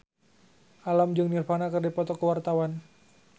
Alam jeung Nirvana keur dipoto ku wartawan